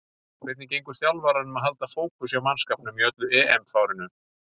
Hvernig gengur þjálfaranum að halda fókus hjá mannskapnum í öllu EM-fárinu?